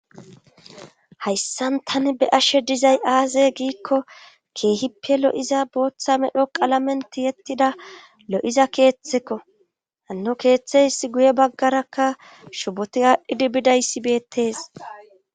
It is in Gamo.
hayssan tani be ashe dizay aaze giikko keehippe lo7iza booththa medho qalamenti yettida lo7iza keeththekko hanno keeththe hiss guye baggarakka shuboti aadhdhidi bidayssi beettees